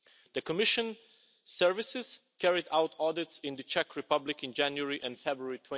The Commission services carried out audits in the Czech Republic in January and February